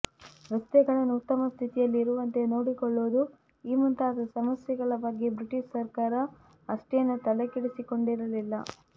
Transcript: ರಸ್ತೆಗಳನ್ನು ಉತ್ತಮ ಸ್ಥಿತಿಯಲ್ಲಿರುವಂತೆ ನೋಡಿಕೊಳ್ಳುವುದು ಈ ಮುಂತಾದ ಸಮಸ್ಯೆಗಳ ಬಗ್ಗೆ ಬ್ರಿಟಿಷ್ ಸರಕಾರ ಅಷ್ಟೇನೂ ತಲೆಕೆಡಿಸಿಕೊಂಡಿರಲಿಲ್ಲ